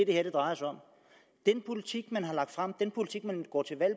det her drejer sig om den politik man har lagt frem den politik man går til valg